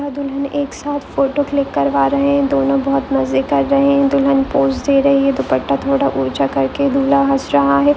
यहाँ दुल्हन एक सात फोटो क्लिक करवा रहे है ये दोनो बहुत मजे कर रहे है ये दुल्हन पोज दे रही है दुप्पट्टा थोडा ऊँचा करके दूल्हा हंस रहा है।